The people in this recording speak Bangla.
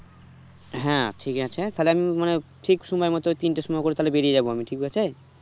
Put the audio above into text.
হ্যাঁ ঠিক আছে, তাহলে আমি ঠিক সময় মতো তিনটের সময় করে তাহলে বেরিয়ে যাবো আমি ঠিক আছে